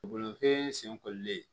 Bolofɛn senkoli